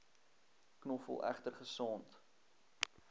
knoffel egter gesond